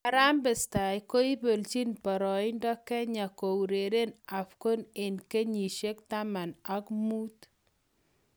Harambee Stars: koipelchi paraindo Kenya koureren Afcon eng' kenyishiek taman akmuut